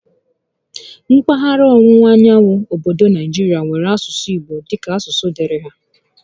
Mpaghara ọwụwa anyanwụ obodo Naijirịa nwèrè asụsụ Igbo dịka asụsụ dịịrị há